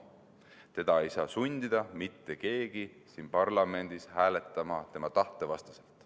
Teda ei saa mitte keegi siin parlamendis sundida hääletama tema tahte vastaselt.